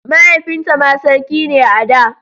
Mahaifinta ma sarki ne a da.